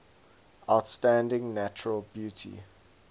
outstanding natural beauty